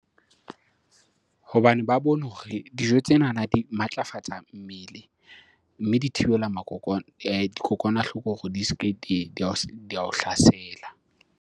Hobane ba bone hore dijo tsenana di matlafatsa mmele mme di thibela dikokwanahloko hore di se ke di ao hlasela.